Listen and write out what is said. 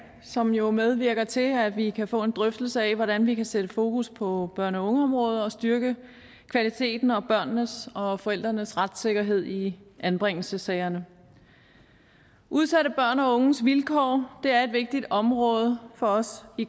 som jo medvirker til at vi kan få en drøftelse af hvordan vi kan sætte fokus på børne og ungeområdet og styrke kvaliteten og børnenes og forældrenes retssikkerhed i anbringelsessagerne udsatte børn og unges vilkår er et vigtigt område for os i